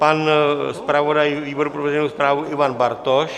Pan zpravodaj výboru pro veřejnou správu Ivan Bartoš?